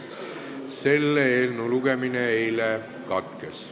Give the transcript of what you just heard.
Selle eelnõu lugemine eile katkes.